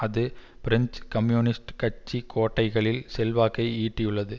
அது French communist கட்சி கோட்டைகளில் செல்வாக்கை ஈட்டியுள்ளது